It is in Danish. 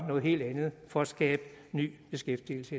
noget helt andet for at skabe ny beskæftigelse